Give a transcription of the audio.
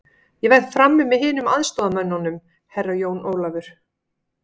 Ég verð frammi með hinum aðstoðarmönnunum, Herra Jón Ólafur.